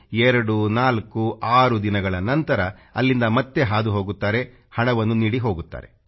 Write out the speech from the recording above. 2 4 6 ದಿನಗಳ ನಂತರ ಅಲ್ಲಿಂದ ಮತ್ತೆ ಹಾದು ಹೋಗುತ್ತಾರೆ ಮತ್ತು ಹಣವನ್ನು ನೀಡಿ ಹೋಗುತ್ತಾರೆ